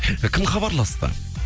кім хабарласты